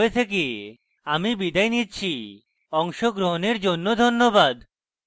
I I T Bombay থেকে আমি বিদায় নিচ্ছি অংশগ্রহনের জন্য ধন্যবাদ